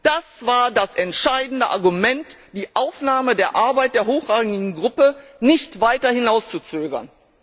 Das war das entscheidende Argument, die Aufnahme der Arbeit der Hochrangigen Gruppe nicht weiter hinauszuzögern.